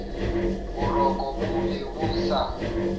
boroko bo be bo sa